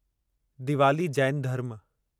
दिवाली जैन धर्म